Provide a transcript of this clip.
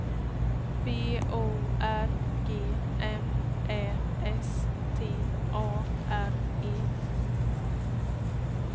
B O R G M Ä S T A R E